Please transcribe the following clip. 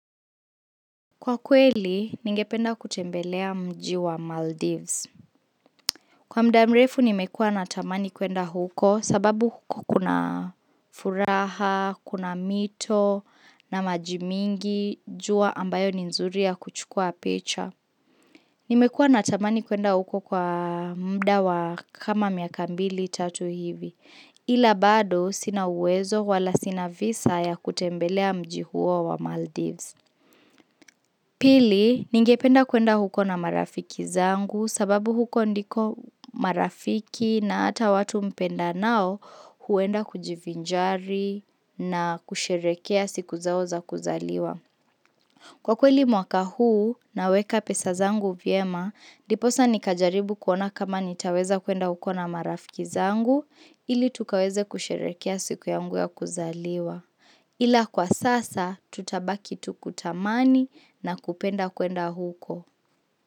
Kwa kweli, ningependa kutembelea mji wa Maldives. Kwa muda mrefu, nimekuwa natamani kuenda huko sababu kukuna furaha, kuna mito, na maji mingi, jua ambayo ni nzuri ya kuchukua picha. Nimekuwa natamani kuenda huko kwa muda wa kama miaka mbili tatu hivi, ila bado sina uwezo wala sina visa ya kutembelea mji huo wa Maldives. Pili, ningependa kuenda huko na marafiki zangu sababu huko ndiko marafiki na hata watu mpendanao huenda kujivinjari na kusherehekea siku zao za kuzaliwa. Kwa kweli mwaka huu naweka pesa zangu vyema, ndiposa nikajaribu kuona kama nitaweza kuenda huko na marafiki zangu ili tukaweze kusherehekea siku yangu ya kuzaliwa. Ila kwa sasa tutabaki tu kutamani na kupenda kuenda huko.